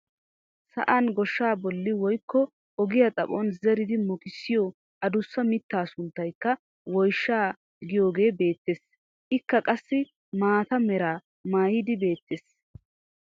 Sa'an goshshaa bolli woykko ogiyaa xaphon zeridi mokissiyoo adussa mittaa a sunttaayka woyshshaa giyoogee beettees. Ikka qassi maata meraa maaydi beettees.